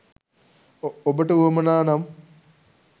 ඔබට උවමනා නම්